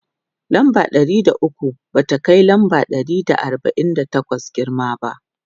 lamba Ɗari da ukwu ba ta Kai lamba Ɗari da arbain da takwas girma ba